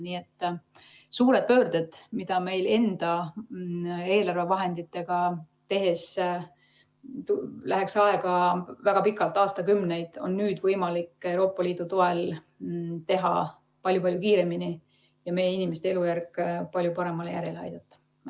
Nii et suured pöörded, mille tegemiseks enda eelarvevahenditega läheks meil aega väga pikalt, aastakümneid, on nüüd võimalik Euroopa Liidu toel teha palju-palju kiiremini ja meie inimeste elujärg palju paremale järjele aidata.